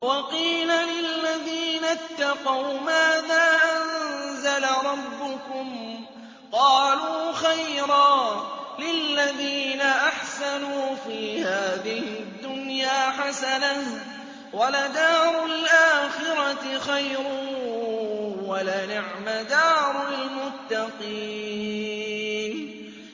۞ وَقِيلَ لِلَّذِينَ اتَّقَوْا مَاذَا أَنزَلَ رَبُّكُمْ ۚ قَالُوا خَيْرًا ۗ لِّلَّذِينَ أَحْسَنُوا فِي هَٰذِهِ الدُّنْيَا حَسَنَةٌ ۚ وَلَدَارُ الْآخِرَةِ خَيْرٌ ۚ وَلَنِعْمَ دَارُ الْمُتَّقِينَ